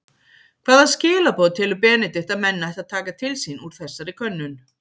Hvaða skilaboð telur Benedikt að menn ættu að taka til sín úr þessari könnun?